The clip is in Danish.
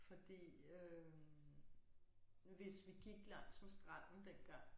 Fordi øh hvis vi gik langs med stranden dengang